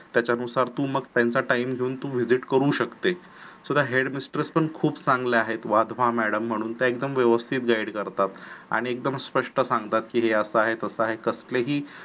त्याच्या नुसार तू मग त्यांचा time घेऊन तू visit करू शकतेस सुद्धा head mistress पण खूप चांगल्या आहेत वाढवा madam म्हणून एकदम व्यवस्थित guide करतात. आणि एकदम स्पस्ट सांगतात की हे अस आहे तसं आहे तेही